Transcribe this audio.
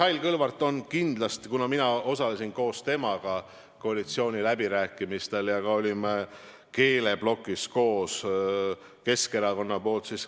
Mis puutub Mihhail Kõlvartisse, siis ma osalesin koos temaga koalitsiooniläbirääkimistel ja me olime Keskerakonna esindajatena koos ka keeleplokis.